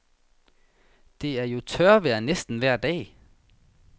Det er jo tørvejr næsten vejr dag.